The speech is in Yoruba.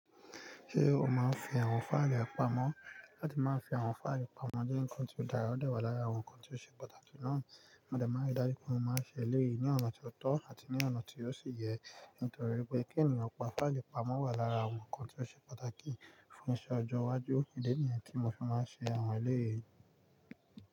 Ṣé o máa ń fi àwọn fáìlì pamọ́? Láti máa ń fi àwọn fáìlì pamọ́, díǹkan tí ó dára ó dẹ̀ wà lára àwọn ǹkan tí ó ṣe pàtàkì náà. Mọ́dé má ri, dájú pé mó máa ń ṣe eléyìí ní ọ̀nà tó tọ́ àti ní ọ̀nà tí ó sì yẹ, nítorí pé kí ènìyàn pa fáìlì pamọ́ wà lára àwọn ǹkan tí ó ṣe pàtàkì fún iṣẹ́ ọjọ́ iwájú. Kíní déníyẹn tí mo fi máa ṣe àwọn eléyìí?